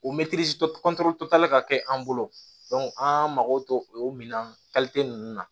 O ka kɛ an bolo an mago to o minan ninnu na